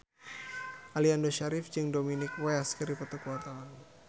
Aliando Syarif jeung Dominic West keur dipoto ku wartawan